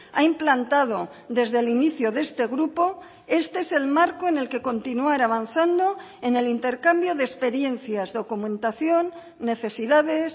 ha implantado desde el inicio de este grupo este es el marco en el que continuar avanzando en el intercambio de experiencias documentación necesidades